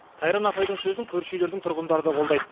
сайран апайдың сөзін көрші үйлердің тұрғындары да қолдайды